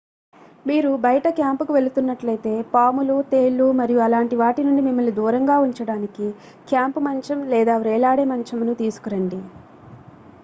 మీరు బయట క్యాంపుకు వెళుతున్నట్లైతే పాములు తేళ్లు మరియు అలాంటి వాటి నుండి మిమ్మల్ని దూరంగా ఉంచడానికి క్యాంపు మంచం లేదా వ్రేలాడే మంచమును తీసుకురండి